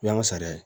O y'an ka sariya ye